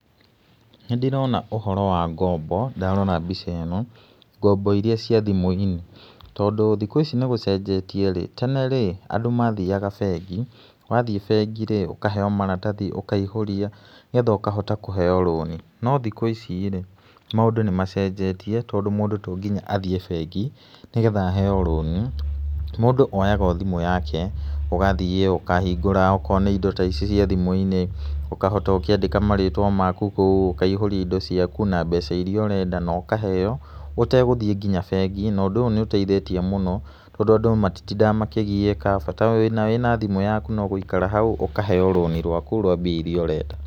Nĩ ndĩrona ũhoro wa ngombo ndarora mbica ĩno, ngombo iria cia thimũ-inĩ, tondũ thikũ ici nĩ gũcenjetie rĩ, tene rĩ, andũ mathiaga bengi, wathiĩ bengi rĩ, ũkaheo maratathi, ũkaihũria nĩ getha ũkahota kũheo rũni, no thikũ ici rĩ, maũndũ nĩ macenjetie tondũ mũndũ tonginya athiĩ bengi nĩ getha aheo rũni. Mũndũ oyaga othimũ yake ũgathiĩ ũkahingũra okorwo nĩ indo ta ici ciĩ thimũ-inĩ, ũkahota ũkĩandĩka marĩtwa maku ũkaihũria indo ciaku, na mbeca iria ũrenda na ũkaheo ũtegũtiĩ nginya bengi, na ũndũ ũyũ nĩ ũteithĩtie mũno tondũ andũ matitindaga makĩgiĩka bata wĩna thimũ yaku no gũikara hau ũkaheo rũni rwaku rwa mbia iria ũrenda.